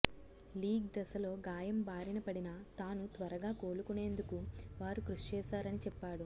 league దశలో గాయం బారిన పడిన తాను త్వరగా కోలుకునేందుకు వారు కృషి చేశారని చెప్పాడు